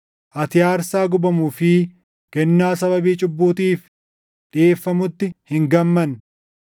ati aarsaa gubamuu fi kennaa sababii cubbuutiif dhiʼeeffamutti hin gammanne.